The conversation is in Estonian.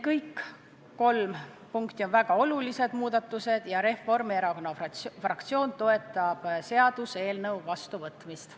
Kõik need kolm muudatust on väga olulised ja Reformierakonna fraktsioon toetab seaduseelnõu vastuvõtmist.